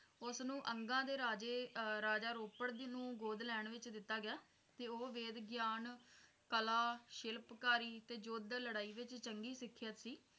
ਉਸਨੂੰ ਅੰਗਾਂ ਦੇ ਰਾਜੇ ਰਾਜਾ ਰੋਪੜ ਜੀ ਨੂੰ ਗੋਦ ਲੈਣ ਵਿੱਚ ਦਿੱਤਾ ਗਿਆ ਤੇ ਉਹ ਵੇਦ ਗਿਆਨ ਕਲਾ ਸ਼ਿਲਪਕਾਰੀ ਤੇ ਯੁੱਧ ਲੜਾਈ ਵਿੱਚ ਚੰਗੀ ਸਿਖਿਅਤ ਸੀ